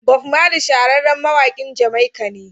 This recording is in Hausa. Bob Marley shahararren mawakin Jamaica ne.